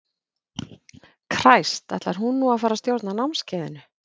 Kræst, ætlar hún nú að fara að stjórna námskeiðinu?